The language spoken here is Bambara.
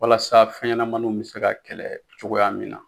Walasa fɛnɲɛnamaninw bɛ se ka kɛlɛ cogoya min na.